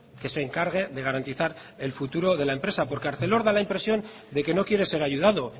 que se encargue de garantizar el futuro de la empresa porque arcelor da la impresión de que no quiere ser ayudado